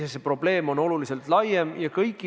Kas Riigikogus algatatud eelnõu 118 langetab ravimite hinda?